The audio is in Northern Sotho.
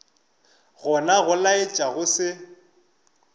gona go laetša go se